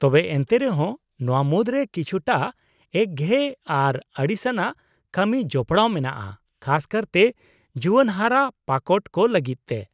-ᱛᱚᱵᱮ ᱮᱱᱛᱮ ᱨᱮᱦᱚᱸ ᱱᱚᱶᱟ ᱢᱩᱫᱨᱮ ᱠᱤᱪᱷᱩᱴᱟᱜ ᱮᱠᱜᱷᱮᱭᱮ ᱟᱨ ᱟᱹᱲᱤᱥᱟᱱᱟᱜ ᱠᱟᱹᱢᱤ ᱡᱚᱯᱲᱟᱣ ᱢᱮᱱᱟᱜᱼᱟ, ᱠᱷᱟᱥ ᱠᱟᱨᱛᱮ ᱡᱩᱣᱟᱹᱱ ᱦᱟᱨᱟ ᱯᱟᱠᱚᱴ ᱠᱚ ᱞᱟᱹᱜᱤᱫ ᱛᱮ ᱾